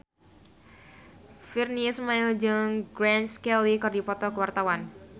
Virnie Ismail jeung Grace Kelly keur dipoto ku wartawan